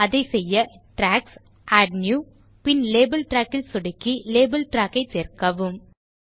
அதைச் செய்ய ட்ராக்ஸ் ஜிடிஜிடிஏடி நியூ பின் லேபல் ட்ராக் ல் சொடுக்கி லேபல் ட்ராக் ஐ சேர்க்கவும்